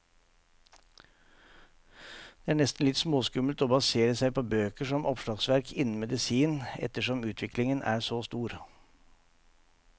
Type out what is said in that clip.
Det er nesten litt småskummelt å basere seg på bøker som oppslagsverk innen medisin, ettersom utviklingen er så stor.